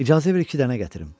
İcazə ver iki dənə gətirim.